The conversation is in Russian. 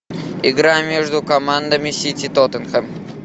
игра между командами сити тоттенхэм